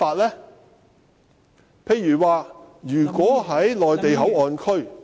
舉例說，如果在內地口岸區......